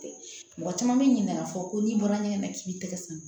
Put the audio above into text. Mɔgɔ caman bɛ ɲinɛ a kɔ ko n'i bɔra ɲɛgɛn na k'i b'i tɛgɛ san